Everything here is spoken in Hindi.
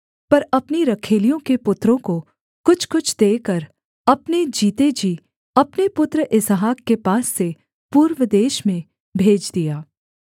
पर अपनी रखैलियों के पुत्रों को कुछ कुछ देकर अपने जीते जी अपने पुत्र इसहाक के पास से पूर्व देश में भेज दिया